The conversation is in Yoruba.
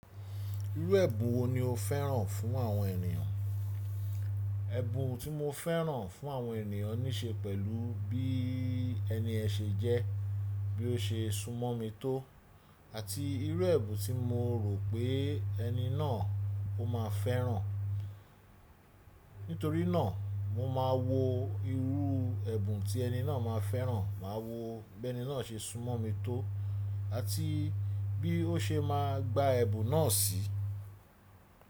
Irú ẹ̀bùn wo ni o fẹ́ràn fún àwọn ènìyàn? Ẹ̀bùn tí mo fẹ́ràn fún àwọn ènìyàn ní ṣe pẹ̀lú bí ẹni yẹn se jẹ́, bí ó se súnmọ́ mi tó àti irú ẹ̀bùn tí mo rò pé ẹni náà ó máa fẹ́ràn. Nítorí náà mo máa wo irú ẹ̀bùn tí ẹni náà máa fẹ́ràn, màá wo bẹ́ẹ̀ni náà se súnmọ́ mi tó àti bí ó se máa gba ẹ̀bùn náà sí.